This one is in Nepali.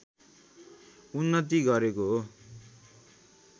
उन्नति गरेको हो